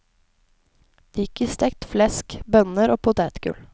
Det gikk i stekt flesk, bønner og potetgull.